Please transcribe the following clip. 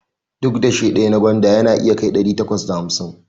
Duk dashe ɗaya na gwanda yana iya kai ɗari takwas da hamsin